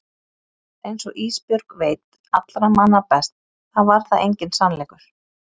En einsog Ísbjörg veit allra manna best þá var það enginn sannleikur.